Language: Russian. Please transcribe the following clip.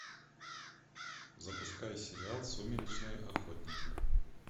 запускай сериал сумеречные охотники